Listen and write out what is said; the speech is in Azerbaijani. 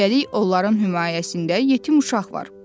Üstəlik, onların himayəsində yetim uşaq var.